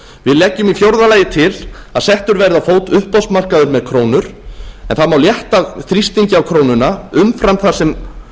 við leggjum í fjórða lagi til að settur verði á fót uppboðsmarkaður með krónur en það má létta þrýstingi á krónuna umfram það sem